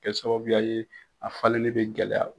Kɛ sababuya ye a falilen bɛ gɛlɛya